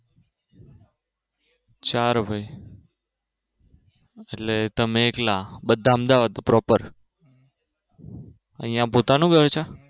ચાર ભાઈ એટલે તમે એકલા બધા અમદાવાદ Proper